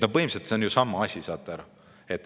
Põhimõtteliselt see on ju sama asi, saate aru.